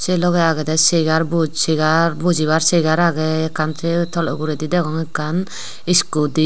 se loge agede chair bojibar chair age ekkan se toledi degong ekkan scooty.